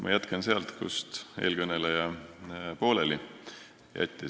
Ma jätkan sealt, kus eelkõneleja pooleli jäi.